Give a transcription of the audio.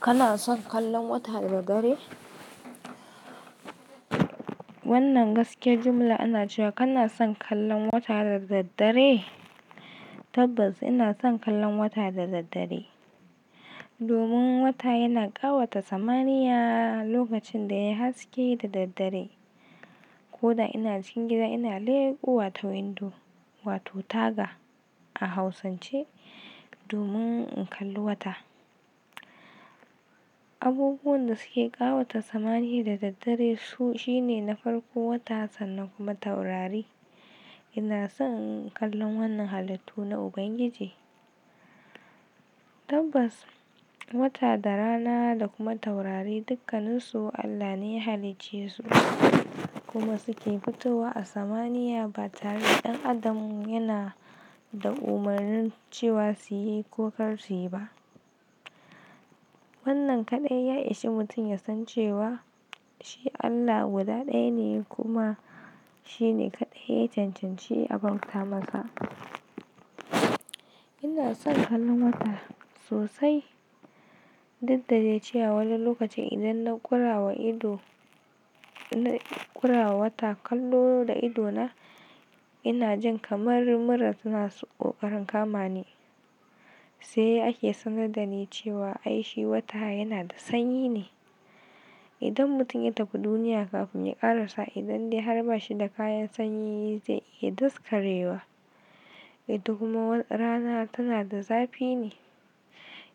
Kana son kallon wata da dare? Wannan gaske jimla ana cewa kana son kallon wata da daddare? Tabbas ina son kallon wata da daddare. Domin wata yana kawata samaniya lokacinda yayi haske dadaddare, koda ina cikin gida ina lekowa ta windo wato taga a hausance domin in kalli wata. Abubuwan da suke ƙawata samaniya da daddare sune na farko wata sannan kuma taurari. Ina son in kalli wannan halittu na Ubangiji. Tabbas wata da rana da kuma taurari dukkannisu Allah ne ya halicce su kuma suke fitowa a samaniya ba tare ɗan adam yana da umarnin cewa suyi ko kar suyi ba. Wannan kaɗai ya ishi mutum ya san cewa shi Allah guda ɗaya ne kuma shine kaɗai ya cancanci a bauta masa. Inason kallon wata sosai, dukda dai cewa wani lokacin idan na kurawa ido inna kurawa wata kallo da idona ina jin kamar mura suna kokarin kama ni. Sai ake sanar da ni cewa aishi wata yana da sanyi ne. Idan mutum ya tafi duniya kafin ya ƙarasa idan dai har ba shi da kayan sanyi zai iya daskarewa. Eh to kuma rana tana da zafi ne.